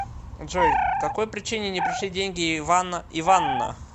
джой какой причине не пришли деньги ивана иванна